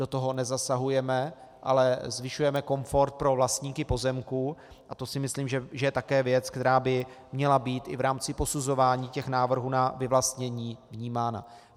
Do toho nezasahujeme, ale zvyšujeme komfort pro vlastníky pozemků a to si myslím, že je také věc, která by měla být i v rámci posuzování těch návrhů na vyvlastnění vnímána.